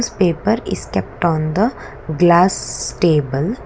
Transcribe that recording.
its paper is kept on the glass table.